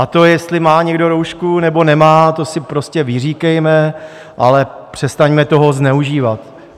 A to, jestli má někdo roušku, nebo nemá, to si prostě vyříkejme, ale přestaňme toho zneužívat.